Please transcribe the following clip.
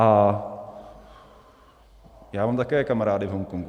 A já mám také kamarády v Hongkongu.